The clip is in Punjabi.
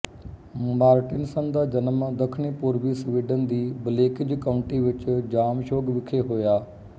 ਮਾਰਟਿਨਸਨ ਦਾ ਜਨਮ ਦੱਖਣੀਪੂਰਬੀ ਸਵੀਡਨ ਦੀ ਬਲੇਕਿੰਜ ਕਾਊਂਟੀ ਵਿੱਚ ਜਾਮਸ਼ੋਗ ਵਿਖੇ ਹੋਇਆ